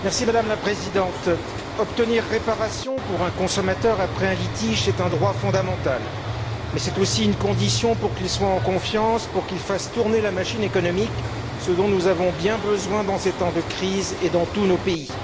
Madame la Présidente, obtenir réparation pour un consommateur, après un litige, est un droit fondamental, mais c'est aussi une condition pour qu'il soit en confiance, pour qu'il fasse tourner la machine économique, ce dont nous avons bien besoin dans ces temps de crise et dans tous nos pays.